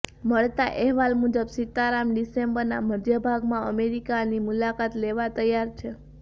મળતા અહેવાલ મુજબ સીતારામન ડિસેમ્બરના મધ્યભાગમાં અમેરિકાની મુલાકાત લેવા તૈયાર છે